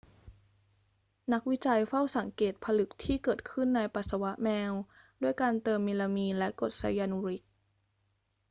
นักวิจัยเฝ้าสังเกตผลึกที่เกิดขึ้นในปัสสาวะแมวด้วยการเติมเมลามีนและกรดไซยานูริก